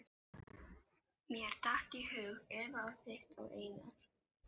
Mér datt í hug Eva á þitt og Einar